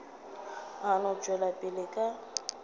a no tšwela pele ka